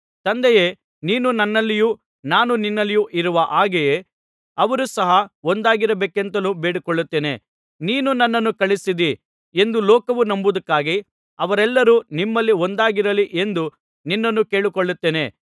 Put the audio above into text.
ತಂದೆಯೇ ನೀನು ನನ್ನಲ್ಲಿಯೂ ನಾನು ನಿನ್ನಲ್ಲಿಯೂ ಇರುವ ಹಾಗೆಯೇ ಅವರು ಸಹ ಒಂದಾಗಿರಬೇಕೆಂತಲೂ ಬೇಡಿಕೊಳ್ಳುತ್ತೇನೆ ನೀನು ನನ್ನನ್ನು ಕಳುಹಿಸಿದ್ದೀ ಎಂದು ಲೋಕವು ನಂಬುವುದಕ್ಕಾಗಿ ಅವರೆಲ್ಲರೂ ನಮ್ಮಲ್ಲಿ ಒಂದಾಗಿರಲಿ ಎಂದು ನಿನ್ನನ್ನು ಕೇಳಿಕೊಳ್ಳುತ್ತೇನೆ